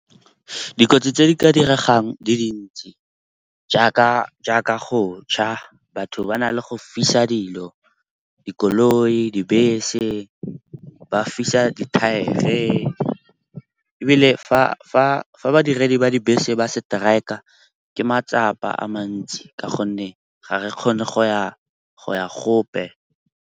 Dikotsi tse di ka diregang di dintsi jaaka go cha. Batho ba na le go fisa dilo, dikoloi, dibese ba fisa dithaere. Ebile fa badiredi ba dibese ba setraeka, ke matsapa a mantsi ka gonne ga re kgone go ya gope.